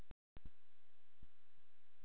Að hnýta flugur og veiða svo silung á sumrin.